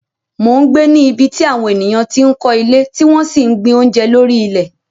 mò ń gbé ní ibi tí àwọn ènìyàn ti ń kọ́ ilé tí wọ́n sì ń gbin oúnjẹ lórí ilẹ̀